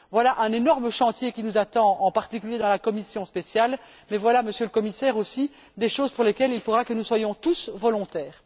Voilà l'énorme chantier qui nous attend, en particulier dans la commission spéciale, mais voilà aussi, Monsieur le Commissaire, des choses pour lesquelles il faudra que nous soyons tous volontaires.